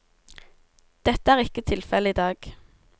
Dette er ikke tilfellet i dag.